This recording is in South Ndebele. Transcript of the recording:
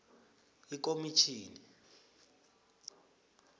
ikomitjhini